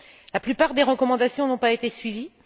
La plupart des recommandations n'ont pas été suivies